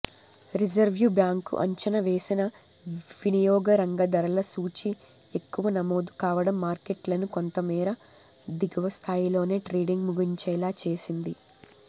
రిజర్వుబ్యాం కు అంచనా వేసిన వినియోగరంగ ధరల సూచి ఎక్కువ నమోదుకావడం మార్కెట్లను కొంతమేర దిగువస్థాయిలోనే ట్రేడింగ్ ముగించేలా చేసింది